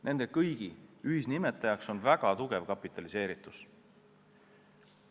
Nende kõigi ühisnimetajaks on väga tugev kapitaliseeritus.